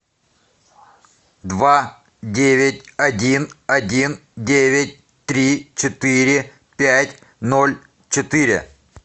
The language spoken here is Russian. два девять один один девять три четыре пять ноль четыре